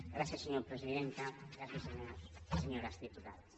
gràcies senyora presidenta gràcies senyors i senyores diputats